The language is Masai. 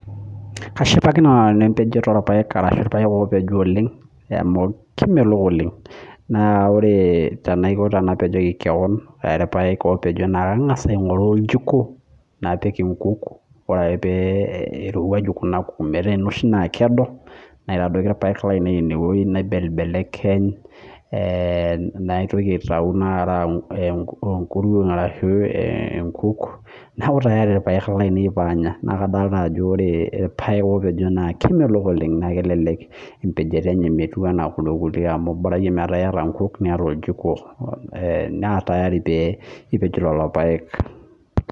kashipakino nanu empejoto olapayek amu kemelok oeng' naa ore tenapejoki kewan naingas aigoru ojiko, napik inkuk ore ake pee irowaju kuna kujit metaa kedo, naibelekeny, pee mejing ikuruon neeku tayari ilpayek lainei neeku tayari ilpayek lainei pee anya naa kadolta ajo ore ilpayek opejo naa , kemelok oleng naa kelelek empejoto enye metiu enaa lelo kulie, naatayari pee ipej lelopayek.